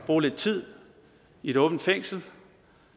bruge lidt tid i et åbent fængsel